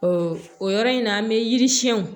o yɔrɔ in na an bɛ yiri siyɛnw